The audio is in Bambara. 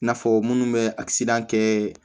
I n'a fɔ minnu bɛ kɛ